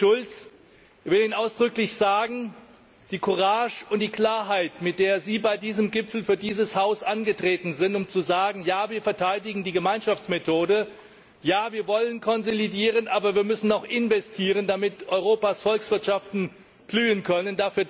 Herr Präsident Schulz, ich will Ihnen ausdrücklich für die Courage und die Klarheit danken, mit der Sie bei diesem Gipfel für dieses Haus angetreten sind, um zu sagen Ja wir verteidigen die Gemeinschaftsmethode, Ja wir wollen konsolidieren, aber wir müssen auch investieren, damit Europas Volkswirtschaften blühen können.